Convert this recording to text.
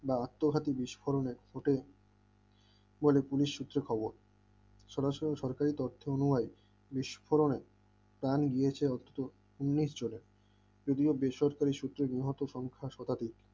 বা আত্মঘাতী বিস্ফোরণের হোটে বলে পুলিশ সূত্রে খবর সরাসরি সরকারি দপ্তর অনুযায় বিস্ফোরণ প্রাণ গিয়েছে অন্তত উন্নিশ জনের যদিও বেসরকারি সূত্রে বিহত সংখ্যা সতারি